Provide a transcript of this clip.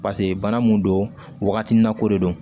pase bana mun don wagati nako de don